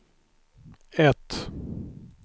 ett